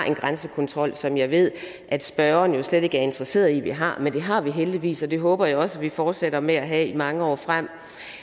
en grænsekontrol som jeg ved at spørgeren slet ikke er interesseret i vi har men det har vi heldigvis og det håber jeg også at vi fortsætter med at have i mange år frem